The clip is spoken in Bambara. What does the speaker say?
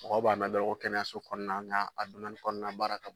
Mɔgɔ b'a mɛn dɔrɔn ko kɛnɛyaso kɔnɔna nka a kɔnɔna baara ka bon.